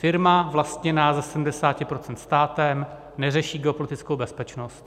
Firma vlastněná ze 70 % státem neřeší geopolitickou bezpečnost.